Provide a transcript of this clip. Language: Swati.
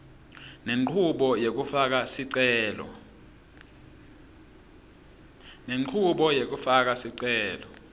lenchubo yekufaka sicelo